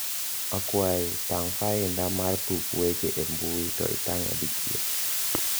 akwai tang fainda mar tuk weche e mbui to itang`e di chiel